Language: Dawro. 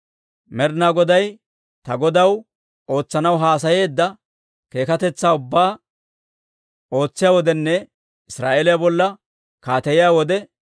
Med'inaa Goday ta godaw ootsanaw haasayeedda keekatetsaa ubbaa ootsiyaa wodenne Israa'eeliyaa bolla kaateyiyaa wode,